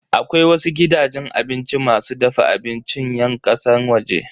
Akwai wasu gidajen abinci masu dafa abincin yan kasan waje.